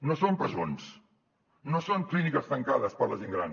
no són presons no són clíniques tancades per a la gent gran